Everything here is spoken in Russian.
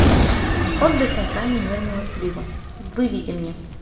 отдых на грани нервного срыва выведи мне